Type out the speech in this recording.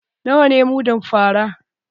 Nawa ne mudun fara?